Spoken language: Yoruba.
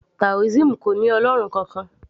taoism kò ní ọlọ́run kankan